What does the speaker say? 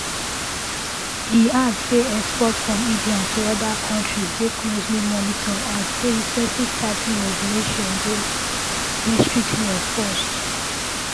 e add say exports from india to oda countries dey closely monitored and say recently tigh ten ed regulation dey dey strictly enforced